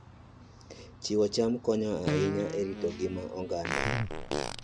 Chiwo cham konyo ahinya e rito ngima oganda